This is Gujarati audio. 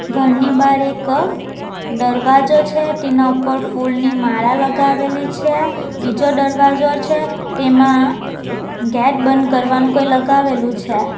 ઘરની બહાર એક દરવાજો છે તેના ઉપર ફૂલની માળા લગાવેલી છે બીજો દરવાજો છે તેમાં ગેટ બંધ કરવાનું કંઈ લગાવેલું છે.